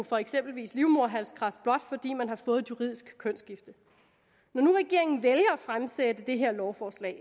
for eksempelvis livmoderhalskræft blot fordi man har fået juridisk kønsskifte når nu regeringen vælger at fremsætte det her lovforslag